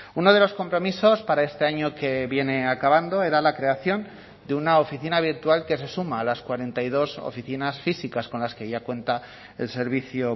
uno de los compromisos para este año que viene acabando era la creación de una oficina virtual que se suma a las cuarenta y dos oficinas físicas con las que ya cuenta el servicio